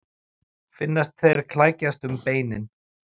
Finnast þeir krækjast um beinin.